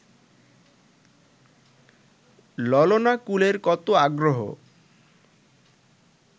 ললনাকুলের কত আগ্রহ